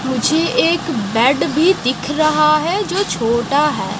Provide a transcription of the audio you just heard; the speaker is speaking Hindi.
मुझे एक बेड भी दिख रहा है जो छोटा है।